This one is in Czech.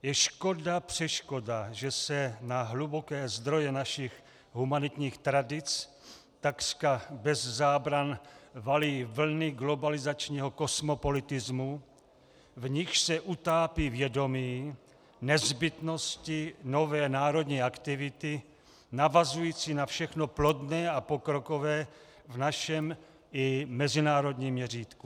Je škoda, přeškoda, že se na hluboké zdroje našich humanitních tradic takřka bez zábran valí vlny globalizačního kosmopolitismu, v nichž se utápí vědomí nezbytnosti nové národní aktivity navazující na všechno plodné a pokrokové v našem i mezinárodním měřítku.